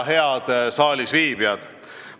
Head saalisviibijad!